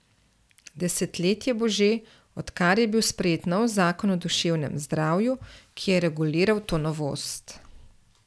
Desetletje bo že, odkar je bil sprejet novi zakon o duševnem zdravju, ki je reguliral to novost.